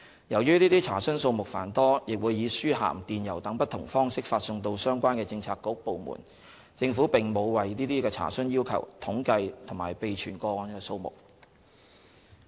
由於這些查詢數目繁多，亦會以書函、電郵等不同方式發送到相關的政策局/部門，政府並沒有為這些查詢要求統計及備存個案數目。